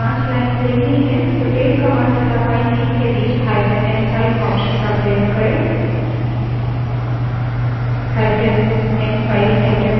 यदि हमें आखिरी पाँच lines देखनी हैं तो tail command तथा file n5 के बीचn5 option का प्रयोग करें